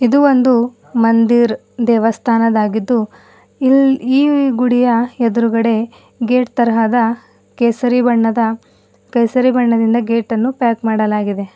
ಇದು ಒಂದು ಮಂದಿರ್ ದೆವಾಸ್ತಾನದಾಗಿದ್ದು ಇಲ್ ಈ ಗುಡಿಯ ಎದ್ರುಗಡೆ ಗೇಟ್ ತರಹದ ಕೇಸರಿ ಬಣ್ಣದ ಕೇಸರಿ ಬಣ್ಣದಿಂದ ಗೇಟ್ ಅನ್ನು ಪ್ಯಾಕ್ ಮಾಡಲಾಗಿದೆ.